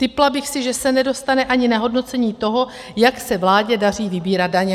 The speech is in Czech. Tipla bych si, že se nedostane ani na hodnocení toho, jak se vládě daří vybírat daně.